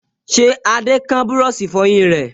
Ṣé Adé kán búrọ̀sì ìfọyín rẹ̀?